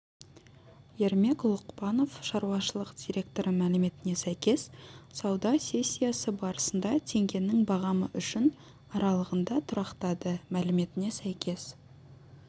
ермек лұқпанов шаруашылық директоры мәліметіне сәйкес сауда сессиясы барысында теңгенің бағамы үшін аралығында тұрақтады мәліметіне сәйкес